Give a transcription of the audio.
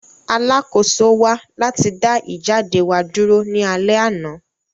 Alakoso wa lati da ijade wa duro ni alẹ ana.